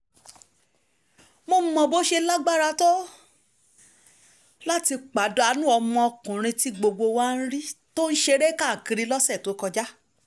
mo mọ bó ṣe lágbára tó láti pàdánù ọmọkùnrin tí gbogbo wa rí tó ń ṣeré káàkiri lọ́sẹ̀ tó kọjá